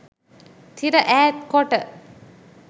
තිර ඈත් කොට